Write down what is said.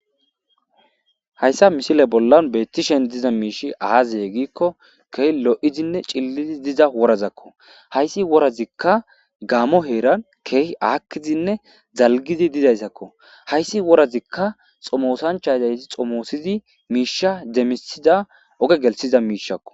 hayssa misile bollan beettishen diza miishi aazeye giikko keeh lo7izinne cillidi diza worazakko hayssi worazikka gaamo heeran keeh aakkizinne zalgidi dizayssakko hayssi worazikka xomoosanchazayti xomoosidi miisha demisida oge gelsiza miishakko